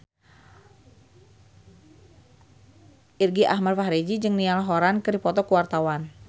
Irgi Ahmad Fahrezi jeung Niall Horran keur dipoto ku wartawan